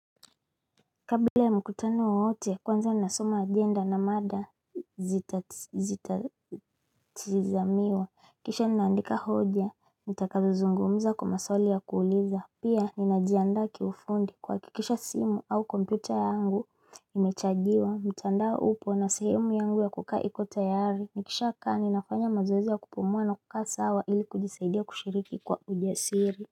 Kabla ya mkutano wowote kwanza nasoma agenda na mada zita zita tazamiwa kisha ninaandika hoja nitakazo zungumza kwa maswali ya kuuliza Pia ninajiandaa kiufundi kuhakikisha simu au kompyuta yangu imechajiwa mtandao upo na sehemu yangu ya kukaa ikotayari Nikisha kaa ninafanya mazoezi ya kupumua na kukaa sawa ili kujisaidia kushiriki kwa ujasiri.